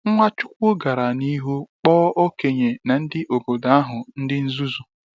Nwachukwu gara n’ihu kpọọ okenye na ndị obodo ahụ ndị nzuzu.